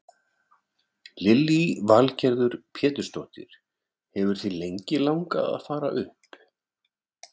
Lillý Valgerður Pétursdóttir: Hefur þig lengi langað að fara upp?